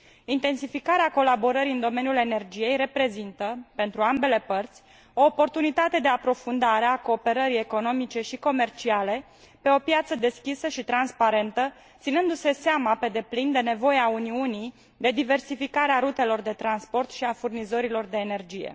Intensificarea colaborării în domeniul energiei reprezintă, pentru ambele părți, o oportunitate de aprofundare a cooperării economice și comerciale pe o piață deschisă și transparentă, ținându se seama pe deplin de nevoia Uniunii de diversificare a rutelor de transport și a furnizorilor de energie.